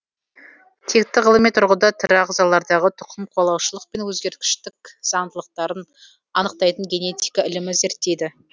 текті ғылыми тұрғыда тірі ағзалардағы тұқымқуалаушылық пен өзгергіштік заңдылықтарын анықтайтын генетика ілімі зерттейді